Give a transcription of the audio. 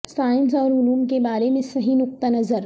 science اور علوم کے بارے میں صحیح نقطہ نظر